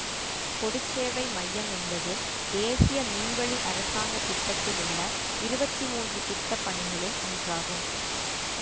பொது சேவை மையம் என்பது தேசிய மின்வழி அரசாங்க திட்டத்தில் உள்ள இருவத்தி மூன்று திட்ட பணிகளுள் ஒன்றாகும்